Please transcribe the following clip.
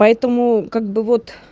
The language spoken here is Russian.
поэтому как бы вот